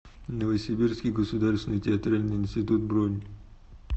новосибирский государственный театральный институт бронь